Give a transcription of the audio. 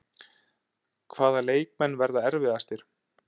Hvaða leikmenn verða erfiðastir?